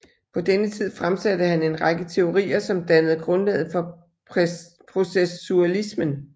På denne tid fremsatte han en række teorier som dannede grundlaget for processualismen